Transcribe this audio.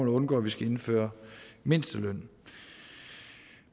at undgå at vi skal indføre mindsteløn